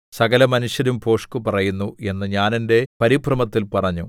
സകലമനുഷ്യരും ഭോഷ്ക്കു പറയുന്നു എന്ന് ഞാൻ എന്റെ പരിഭ്രമത്തിൽ പറഞ്ഞു